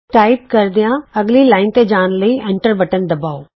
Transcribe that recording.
type ਕਰਦਿਆਂ ਅਗਲੀ line ਤੇ ਜਾਣ ਲਈ ਐਂਟਰ ਬਟਨ ਦਬਾਉ